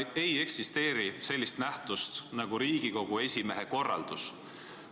– ei eksisteeri sellist nähtust nagu Riigikogu esimehe korraldus.